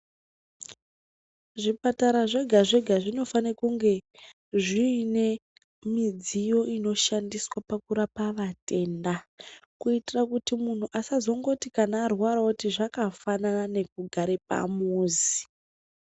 Zvipatara zvega-zvega zvinofane kuti zvinge zviine midziyo inoshandiswa pakurapa vatenda. Kuitira kuti munhu asazongoti kana arwara oti zvakafanana nekugare pamuzi.